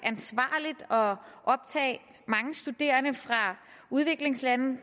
optage mange studerende fra udviklingslande